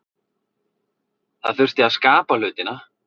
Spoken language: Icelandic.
Það þurfti að skapa hlutina.